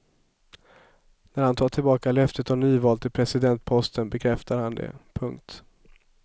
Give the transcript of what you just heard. När han tar tillbaka löftet om nyval till presidentposten bekräftar han det. punkt